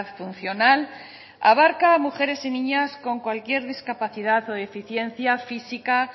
funcional abarca a mujeres y niñas con cualquier discapacidad o deficiencia física